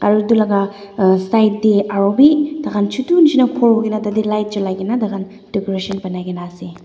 aro etu laka uhh side de aro bi takan chutu nishina phool koina tate light julai kina takan decoration bunai kina ase.